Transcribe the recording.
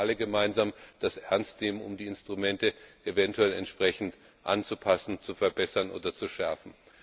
Und wir alle gemeinsam sollten das ernstnehmen, um die Instrumente eventuell entsprechend anzupassen, zu verbessern oder zu schärfen!